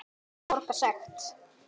Borga sekt?